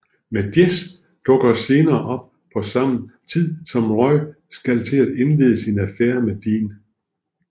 Men Jess dukker senere op på samme tid som Rory skal til at indlede sin affære med Dean